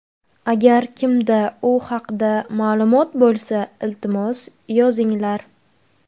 Agar kimda u haqda ma’lumot bo‘lsa, iltimos yozinglar.